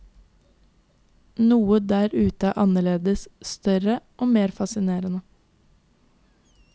Noe der ute er annerledes, større og mer fascinerende.